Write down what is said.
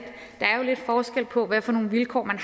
lidt forskel på hvad for nogle vilkår man